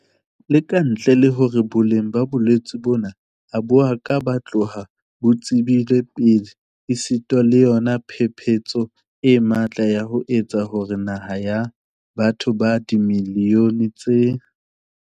Le ka ntle le hore boleng ba bolwetse bona ha bo a ka ba tloha bo tsebilwe pele esita le yona phephetso e matla ya ho etsa hore naha ya batho ba dimiliyone tse